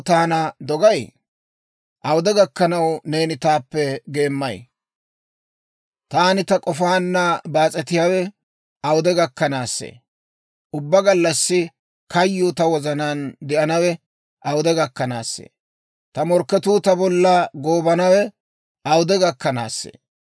Taani ta k'ofaanna baas'etiyaawe awude gakkanaassee? Ubbaa gallassi kayyuu ta wozanaan de'anawe awude gakkanaassee? Ta morkketuu ta bolla goobanawe awude gakkanaassee?